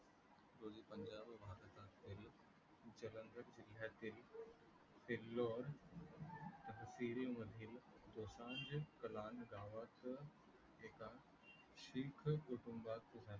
जालंधर जिल्यातील दोसांझ कालान गावात एका शीख कुटुंबात